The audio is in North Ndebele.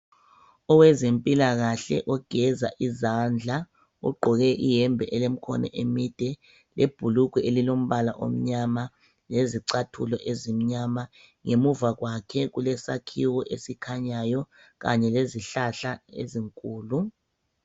Owezempilakahle ogeza izandla ugqoke iyembe elemikhono emide lebhulugwe elilombala omnyama lezicathulo ezimnyama, ngemuva kwakhe kulesakhiwo esikhanyayo kanye lezihlahla ezinkulu.